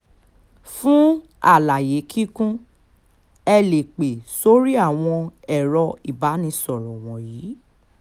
fún àlàyé kíkún ẹ lè pẹ́ sórí àwọn ẹ̀rọ ìbánisọ̀rọ̀ wọ̀nyí